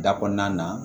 Da kɔnɔna na